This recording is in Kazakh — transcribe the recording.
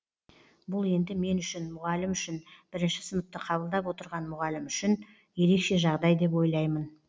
бұл енді мен үшін мұғалім үшін бірінші сыныпты қабылдап отырған мұғалім үшін бұл ерекше жағдай деп ойлаймын